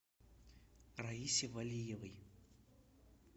раисе валиевой